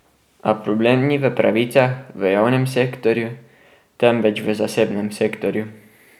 A problem ni v pravicah v javnem sektorju, temveč v zasebnem sektorju.